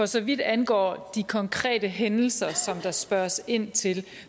så vidt angår de konkrete hændelser som der spørges ind til